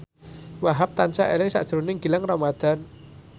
Wahhab tansah eling sakjroning Gilang Ramadan